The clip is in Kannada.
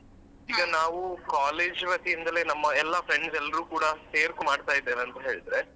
ಈಗ ನಾವು college ವತಿಯಿಂದಲೇ ನಮ್ಮ ಎಲ್ಲ friends ಎಲ್ರು ಕೂಡ ಸೇರ್ಕೊ ಮಾಡ್ತಾ ಇದ್ದೇವೆ ಅಂತ ಹೇಳಿದ್ರೆ.